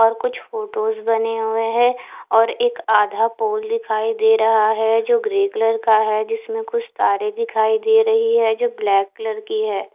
और कुछ फोटोज बने हुए है और एक अधा पूल दिखाई दे रहा है जो ग्रे कलर का है जिसमे कुछ तारे दिख्याई दे रहे है जो ब्लैक कलर के है।